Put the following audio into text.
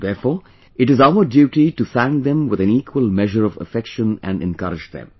Therefore, it is our duty to thank them with an equal measure of affection and encourage them